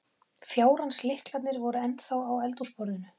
Fjárans lyklarnir voru ennþá á eldhúsborðinu.